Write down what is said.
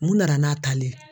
Mun nana n'a tali ye?